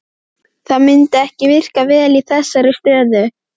Það myndi ekki virka vel í þessari stöðu.